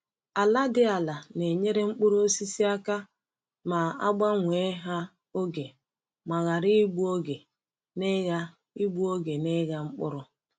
Ala dị ala na-enyere mkpuru osisi aka ma a gbanwee ha oge ma ghara igbu oge n’ịgha igbu oge n’ịgha mkpụrụ.